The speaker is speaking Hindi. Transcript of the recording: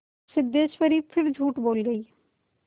सिद्धेश्वरी फिर झूठ बोल गई